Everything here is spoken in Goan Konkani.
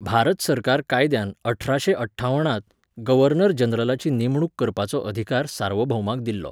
भारत सरकार कायद्यान अठराशें अठ्ठावणांत गव्हर्नर जनरलाची नेमणूक करपाचो अधिकार सार्वभौमाक दिल्लो.